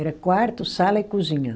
Era quarto, sala e cozinha.